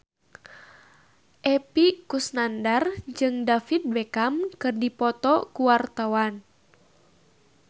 Epy Kusnandar jeung David Beckham keur dipoto ku wartawan